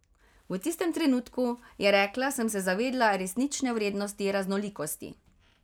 V tistem trenutku, je rekla, sem se zavedla resnične vrednosti raznolikosti.